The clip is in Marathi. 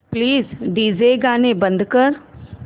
प्लीज डीजे गाणी बंद कर